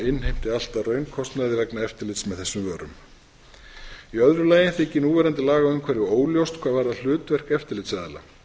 allt að raunkostnaði vegna eftirlits með þessum vörum í öðru lagi þykir núverandi lagaumhverfi óljóst hvað varðar hlutverk eftirlitsaðila